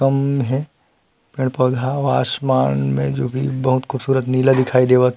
कम्म हे पेड़ - पौधा आसमान में जो भी बहुत खूबसूरत नीला दिखइ देवत हे।